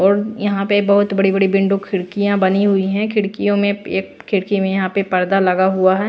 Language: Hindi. और यहां पे बहुत बड़ी-बड़ी बिंडो खिड़कियां बनी हुई है खिड़कियों में एक खिड़की में यहां पे पर्दा लगा हुआ है।